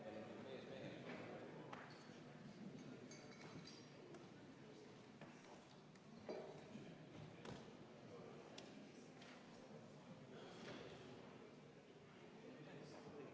Palun võtta seisukoht ja hääletada!